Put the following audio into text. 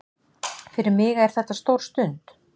Fyrir mig er þetta stór stund